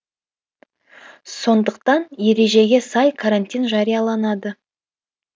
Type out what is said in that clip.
сондықтан ережеге сай карантин жарияланады